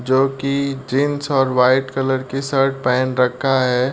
जो कि जीन्स और व्हाइट कलर की शर्ट पहन रखा है।